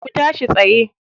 Ku tashi tsaye.